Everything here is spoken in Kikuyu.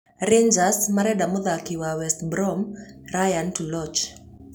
Rangers marenda mũthaki wa West Brom Rayhaan Tulloch.